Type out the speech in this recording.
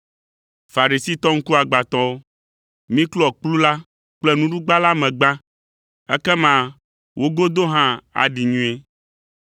Farisitɔ ŋkuagbãtɔwo! Miklɔ kplu la kple nuɖugba la me gbã, ekema wo godo hã aɖi nyuie.